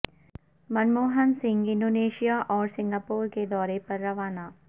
من موہن سنگھ انڈونیشا اور سنگاپور کے دورے پر روانہ